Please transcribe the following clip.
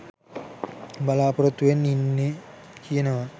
බලාපොරොත්තුවෙන් ඉන්නේ කියනවා.